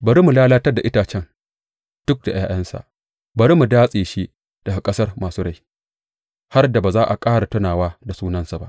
Bari mu lalatar da itacen duk da ’ya’yansa; bari mu datse shi daga ƙasar masu rai, har da ba za a ƙara tunawa da sunansa ba.